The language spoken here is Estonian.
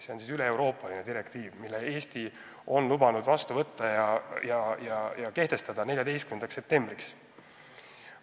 See on üleeuroopaline direktiiv, mille Eesti on lubanud vastu võtta 14. septembriks.